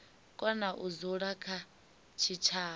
kona u dzula kha tshitshavha